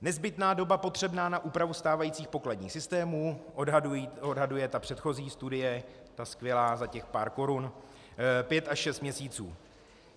Nezbytná doba potřebná na úpravu stávajících pokladních systémů - odhaduje ta předchozí studie, ta skvělá za těch pár korun - pět až šest měsíců.